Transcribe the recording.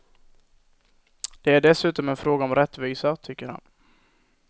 Det är dessutom en fråga om rättvisa, tycker han.